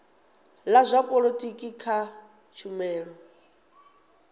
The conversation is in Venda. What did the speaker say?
la zwa polotiki kha tshumelo